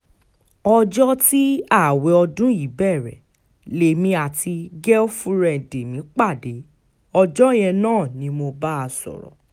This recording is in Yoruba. ọjọ́ tí ààwẹ̀ ọdún yìí bẹ̀rẹ̀ lèmi àti gẹ́ífúrẹ́ǹdì mi pàdé ọjọ́ yẹn náà ni mo bá a sọ̀rọ̀